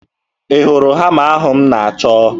Ị hụrụ hama ahụ m na-achọ?